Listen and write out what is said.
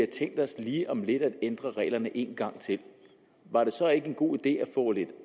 tænkt sig lige om lidt at ændre reglerne en gang til var det så ikke en god idé at få lidt